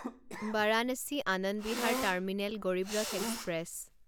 Varanasi Anand Vihar terminal Garib Rath express